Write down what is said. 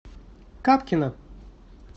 капкина